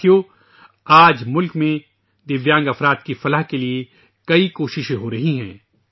دوستو ، آج ملک میں معذور افراد کی فلاح و بہبود کے لیے بہت سی کوششیں کی جا رہی ہیں